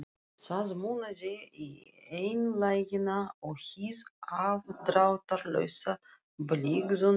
Það munaði í einlægnina og hið afdráttarlausa blygðunarleysi.